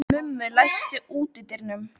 Mummi, læstu útidyrunum.